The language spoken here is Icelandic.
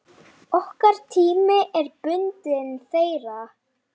Okkar tími er bundinn þeirra.